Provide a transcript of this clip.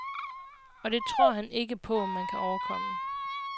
Og det tror han ikke på, man kan overkomme.